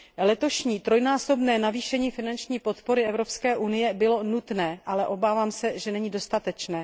Letošní trojnásobné navýšení finanční podpory Evropské unie bylo nutné, ale obávám se, že není dostatečné.